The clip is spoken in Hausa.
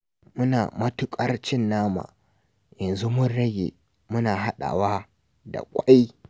Muna matuƙar cin nama, yanzu mun rage, muna haɗawa da ƙwai